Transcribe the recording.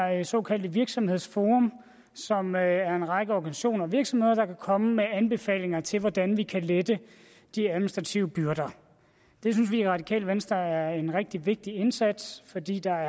her såkaldte virksomhedsforum som er en række organisationer og virksomheder der kan komme med anbefalinger til hvordan vi kan lette de administrative byrder det synes vi i radikale venstre er en rigtig vigtig indsats fordi der